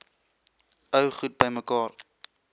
ou goed bymekaar